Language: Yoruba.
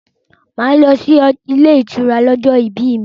Màá lọ sí ilé ìtura ní ọjọ́ ìbí mí.